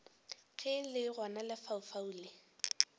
ge le gona lefaufau le